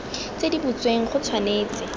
tse di butsweng go tshwanetse